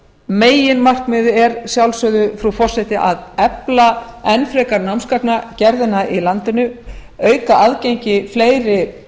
meginmarkmiðið er að sjálfsögðu frú forseti að efla enn frekar námsgagnagerðina í landinu auka aðgengi fleiri